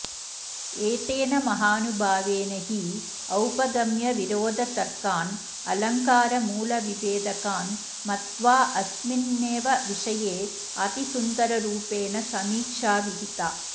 एतेन महानुभावेन हि औपगम्यविरोधतर्कान् अलङ्कारमूलविभेदकान् मत्वाऽस्मिन्नेव विषयेऽतिसुन्दररूपेण समीक्षा विहिता